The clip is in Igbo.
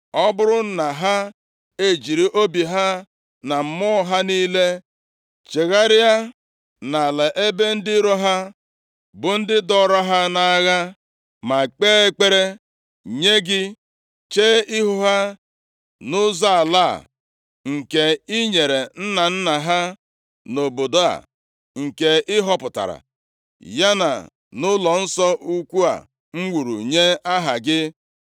ọ bụrụ na ha ejiri obi ha na mmụọ ha niile chegharịa, nʼala ebe ndị iro ha, bụ ndị dọọrọ ha nʼagha, ma kpee ekpere nye gị chee ihu ha nʼụzọ ala a nke i nyere nna nna ha, nʼobodo a nke ị họpụtara, ya na nʼụlọnsọ ukwu a m wuru nye Aha gị;